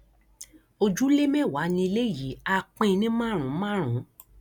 ojúlé mẹwàá nílẹ yìí á pín in ní márùnún márùnún